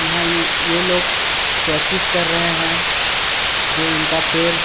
यहाँ ये लोग प्रैक्टिस कर रहे है जो इनका पैर--